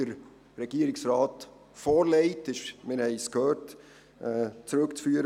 Der Regierungsrat legt Ihnen, wie Sie bereits gehört haben, eine Regelung vor.